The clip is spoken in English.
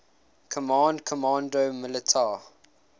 command comando militar